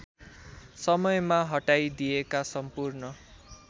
समयमा हटाइदिइएका सम्पूर्ण